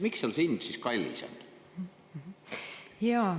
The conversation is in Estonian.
Miks seal see hind siis kallis on?